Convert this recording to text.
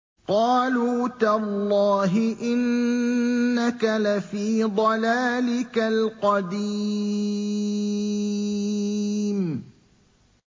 قَالُوا تَاللَّهِ إِنَّكَ لَفِي ضَلَالِكَ الْقَدِيمِ